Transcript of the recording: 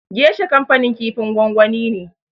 Gesha kanfanin kifin gwangwani ne.